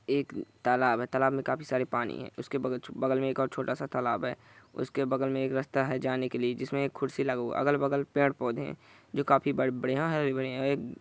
एक तालाब है तलाब मे काफी सारे पानी है उसके बगल मे एक और छोटा सा तालाब है उसके बगल मे एक रास्ता है जाने के लिए जिसमे खुरसी अगल-बगल मे पेड़-पौधे जो काफी बड़े-बड़े हरे-भरे हैं ।